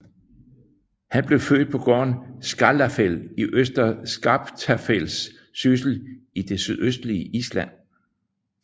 Han blev født på gården Skálafell i Øster Skaptafells Syssel i det sydøstlige Island